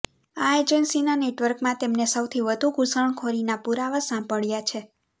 આ એજન્સીના નેટવર્કમાં તેમને સૌથી વધુ ઘૂસણખોરીના પુરાવા સાંપડ્યા છે